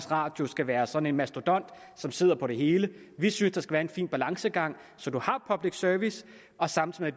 radio skal være sådan en mastodont som sidder på det hele vi synes der skal være en fin balancegang så man har public service samtidig